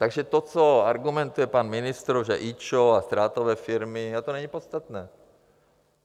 Takže to, co argumentuje pan ministr, že IČO a ztrátové firmy, to není podstatné.